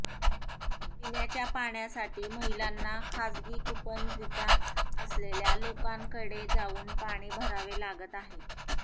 पिण्याच्या पाण्यासाठी महिलांना खासगी कूपनलिका असलेल्या लोकांकडे जाऊन पाणी भरावे लागत आहे